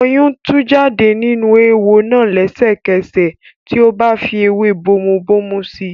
Ọyún tú jáde nínú eéwo náà lẹ́sẹ̀kẹsẹ̀ tí ó fi ewé bomubómú si.